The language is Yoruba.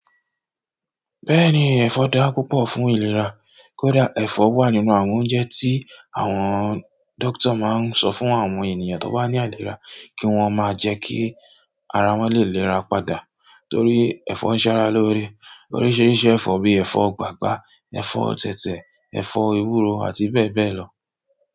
Bẹ́ẹ̀ni ẹ̀fọ́ daa púpọ̀ fún ìlera, kó dà ẹ̀fọ́ wà nínú àwọn oúnjẹ tí àwọn dókítà máa ń sọ fún àwọn ènìyàn tó bà ní àìlera kí wọ́n máa jẹ́ kí ara wọn lè léra padà torí ẹ̀fọ́ ń ṣára lóore. Oríṣiríṣi ẹ̀fọ́ bí ẹ̀fọ́ gbàgbá, ẹ̀fọ́ tẹ̀tẹ̀, ẹ̀fọ́ ewúro àti bẹ́ẹ̀ bẹ́ẹ̀ lọ.